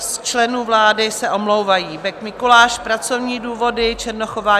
Z členů vlády se omlouvají: Bek Mikuláš - pracovní důvody, Černochová